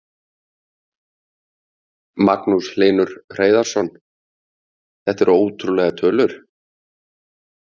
Magnús Hlynur Hreiðarsson: Þetta eru ótrúlegar tölur?